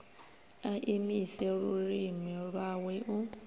a imise lulimi lwawe u